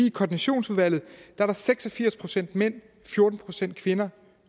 i koordinationsudvalget er seks og firs procent mænd fjorten procent kvinder